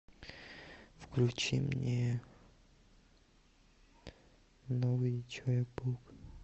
включи мне новый человек паук